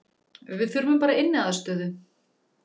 Við þurfum bara inniaðstöðu